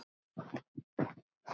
Mér líður vel, sagði hún.